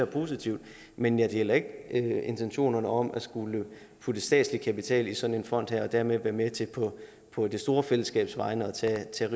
positivt men jeg deler ikke intentionerne om at skulle skyde statslig kapital i sådan en fond og dermed være med til på det store fællesskabs vegne at tage